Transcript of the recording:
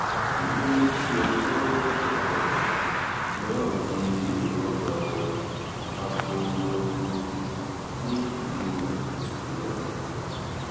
èyí ló mú kí ẹni tí wọ́n fẹ̀sùn kàn náà di èrò ọgbà ẹ̀wọ̀n abọ̀longo nílùú ọ̀yọ́